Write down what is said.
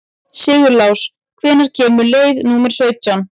Sigurlás, hvenær kemur leið númer sautján?